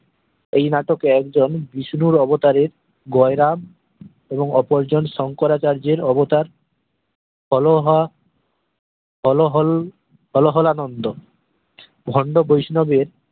এই নাটকে একজন বিষ্ণুর অবতারের গোয়েরাম এবং ওপর জন শঙ্করাচার্যের অবতার হোলোহা হোলোহোল হলহলা নন্দো ভন্ড বৈষ্ণবের